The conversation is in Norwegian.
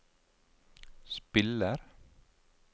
spiller